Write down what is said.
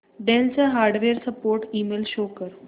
del चा hardware support email show कर